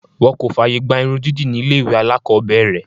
Wọ́n kò fààyè gba irun dídì ní ilé ìwé alákọ̀ọ́bẹ̀rẹ̀.